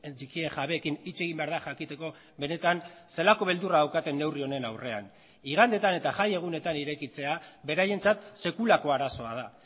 txikien jabeekin hitz egin behar da jakiteko benetan zelako beldurra daukaten neurri honen aurrean igandetan eta jaiegunetan irekitzea beraientzat sekulako arazoa da